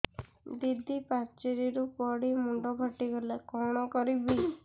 ଦିଦି ପାଚେରୀରୁ ପଡି ମୁଣ୍ଡ ଫାଟିଗଲା କଣ କରିବି